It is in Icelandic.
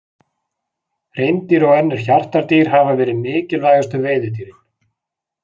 Hreindýr og önnur hjartardýr hafa verið mikilvægustu veiðidýrin.